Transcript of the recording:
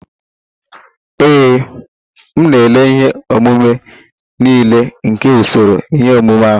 Ee, m na-ele ihe omume niile nke usoro ihe omume ahụ.